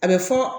A bɛ fɔ